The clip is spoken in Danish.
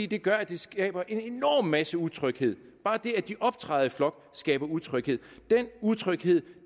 det gør at de skaber en masse utryghed bare det at de optræder i flok skaber utryghed den utryghed